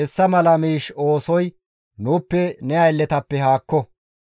Hessa mala miish oosoy nuuppe ne aylletappe haakko!